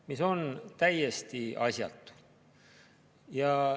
Aga see on täiesti asjatu.